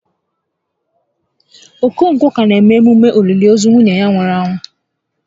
Okonkwọ ka na eme emume òlìlì ozu nwunye ya nwụrụ anwụ